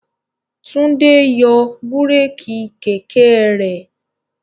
Tún é yóò yọ búrékì kẹ̀kẹ́ rẹ̀.